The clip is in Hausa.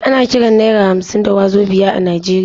Ana kiran naira hamsin da wazobia a Najeriya.